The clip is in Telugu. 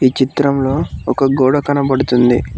ఈ చిత్రంలో ఒక గోడ కనపడుతుంది.